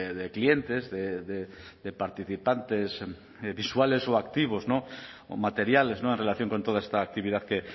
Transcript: de clientes de participantes visuales o activos o materiales en relación con toda esta actividad que